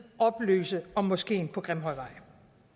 oplyse om moskeen på grimhøjvej